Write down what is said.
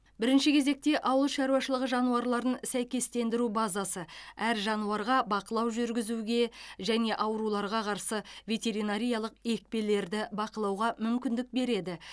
бірінші кезекте ауыл шаруашылығы жануарларын сәйкестендіру базасы әр жануарға бақылау жүргізуге және ауруларға қарсы ветеринариялық екпелерді бақылауға мүмкіндік береді